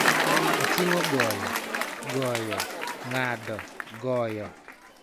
Oting�o goyo, goyo, ng�ado, goyo,